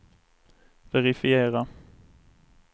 verifiera